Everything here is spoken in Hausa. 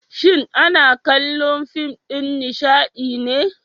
shin ana kallo fim dan Nishadine?